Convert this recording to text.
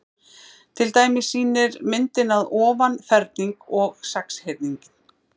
Til dæmis sýnir myndin að ofan ferhyrning og sexhyrning.